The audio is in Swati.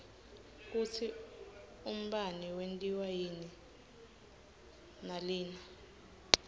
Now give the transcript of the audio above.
kutsi umbane wentiwa yini nalinn